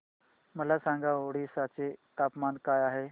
मला सांगा ओडिशा चे तापमान काय आहे